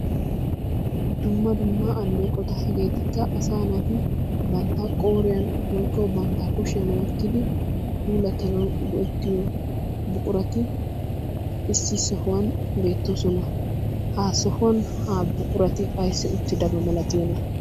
Dumma dumma alleeqota. Hegeetikka asaa naati bantta qooriyan woyikko bantta kushiyan wottidi puulattanawu go'ettiyo buqurati issi sohuwan beettoosona. Ha sohuwan ha buqurati ayissi uttidaba malatiyona?